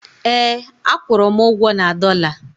ee, a kwụrụ m ugwo na dollar